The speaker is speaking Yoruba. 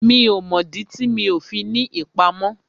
Mi ò mọ̀ dí tí mi ò fi ní ìpamọ́